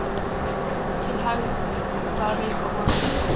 Til hægðarauka verður þó einungis rætt um ábyrgð stjórnarmanna.